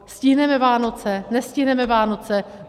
Stihneme Vánoce, nestihneme Vánoce?